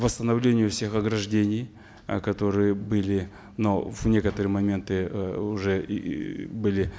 восстановлению всех ограждений э которые были но в некоторые моменты э уже и были